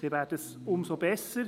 wäre es umso besser.